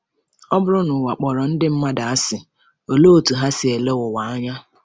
Ọ bụrụ na ụwa kpọrọ ndị mmadụ asị, olee otú ha si ele ụwa anya?